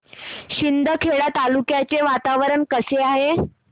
शिंदखेडा तालुक्याचे वातावरण कसे आहे